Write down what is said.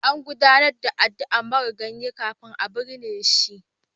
An gudanar da addu'ar marigayin kafin a binne shi.